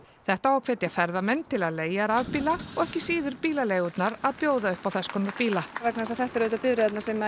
þetta á að hvetja ferðamenn til að leigja rafbíla og ekki síður bílaleigurnar að bjóða upp á þess konar bíla vegna þess að þetta eru auðvitað bifreiðarnar sem